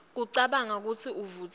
kucabanga futsi ivutsiwe